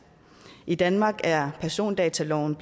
i danmark er persondataloven